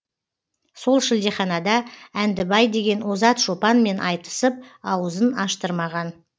сол шілдеханада әндібай деген озат шопанмен айтысып ауызын аштырмаған